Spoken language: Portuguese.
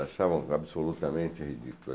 Achavam absolutamente ridículo.